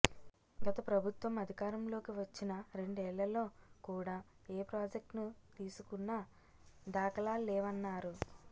గత ప్రభుత్వం అధికారంలోకి వచ్చిన రెండేళ్లలో కూడా ఏ ప్రాజెక్టునూ తీసుకున్న దాఖలాల్లేవన్నారు